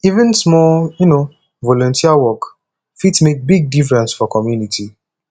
even small um volunteer work fit make big difference for community